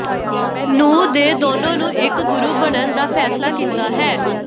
ਨੂੰ ਦੇ ਦੋਨੋ ਨੂੰ ਇੱਕ ਗੁਰੂ ਬਣਨ ਦਾ ਫੈਸਲਾ ਕੀਤਾ ਹੈ